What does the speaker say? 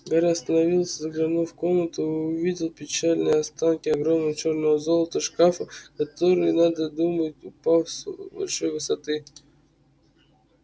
гарри остановился заглянул в комнату и увидел печальные остатки огромного черно-золотого шкафа который надо думать упал с большой высоты